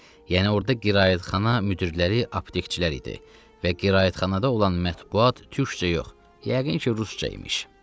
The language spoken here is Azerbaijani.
Yəni orda qiraətxana müdirləri aptekçilər idi və qiraətxanada olan mətbbuat türkcə yox, yəqin ki, rusca imiş.